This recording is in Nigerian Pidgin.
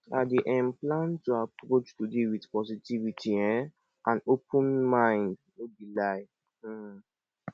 i dey um plan to approach today with positivity um and open mind no be lie um